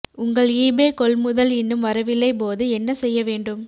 உங்கள் ஈபே கொள்முதல் இன்னும் வரவில்லை போது என்ன செய்ய வேண்டும்